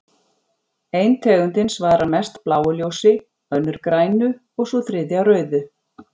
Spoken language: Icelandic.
Ein tegundin svarar mest bláu ljósi, önnur grænu og sú þriðja rauðu.